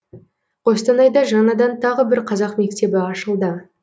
қостанайда жаңадан тағы бір қазақ мектебі ашылды